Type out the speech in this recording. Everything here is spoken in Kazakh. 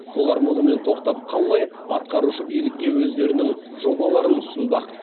олар мұнымен тоқтап қалмай атқарушы билікке өздерінің жобаларын ұсынбақ